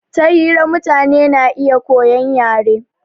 Ta hira mutane na iya koyan yare